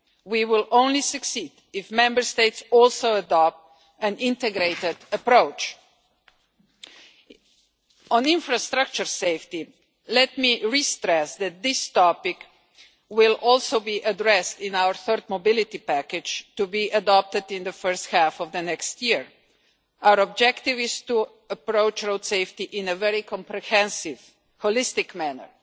We will only succeed if Member States also adopt an integrated approach. On infrastructure safety, let me restress that this topic will also be addressed in our third mobility package to be adopted in the first half of next year. Our objective is to approach road safety in a very comprehensive, holistic manner.